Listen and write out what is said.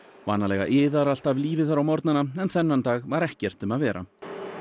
vanalega iðar allt af lífi þar á morgnana en þennan dag var ekkert um að vera